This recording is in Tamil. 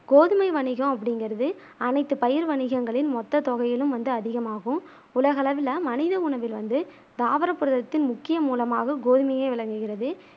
கோதுமை வணிகம் அப்டிங்கிறது அனைத்து பயிர் வணிகங்களின் மொத்த தொகையிலும் அதிகமாகும் உலகளவில மனித உணவில் வந்து தாவர புரதத்தின் முக்கிய மூலமாக கோதுமையே விளங்குகிறது